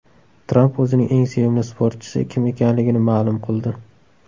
Tramp o‘zining eng sevimli sportchisi kim ekanligini ma’lum qildi.